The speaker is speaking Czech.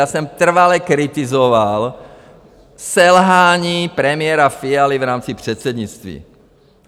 Já jsem trvale kritizoval selhání premiéra Fialy v rámci předsednictví.